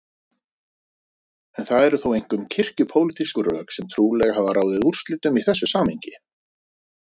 En það eru þó einkum kirkju-pólitísk rök sem trúlega hafa ráðið úrslitum í þessu samhengi.